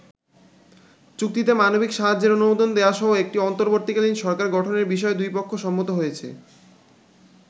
চুক্তিতে মানবিক সাহায্যের অনুমোদন দেয়াসহ একটি অন্তর্বর্তীকালীন সরকার গঠনের বিষয়েও দুই পক্ষ সম্মত হয়েছে।